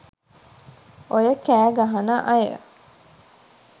ඔය කෑ ගහන අය